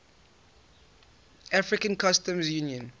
african customs union